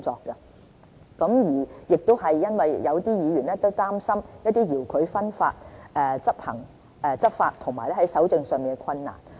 這也回應了有議員擔心，對付遙距分發在執法及搜證上的困難。